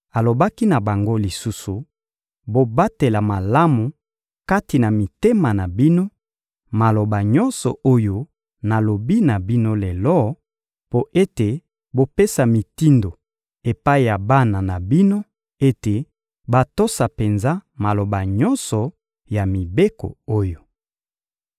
alobaki na bango lisusu: «Bobatela malamu kati na mitema na bino maloba nyonso oyo nalobi na bino lelo, mpo ete bopesa mitindo epai ya bana na bino ete batosa penza maloba nyonso ya mibeko oyo.